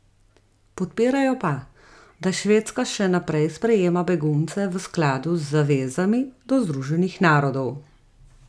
Podpirajo pa, da Švedska še naprej sprejema begunce v skladu z zavezami do Združenih narodov.